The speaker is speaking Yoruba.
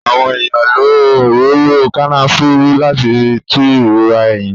Àwọn èèyàn lo òróró Kànáfùrù láti fi tú ìrora eyín